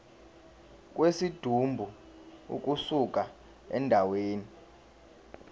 kwesidumbu ukusuka endaweni